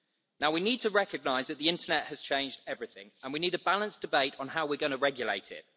Now we need to recognise that the internet has changed everything, and we need a balanced debate on how we are going to regulate it.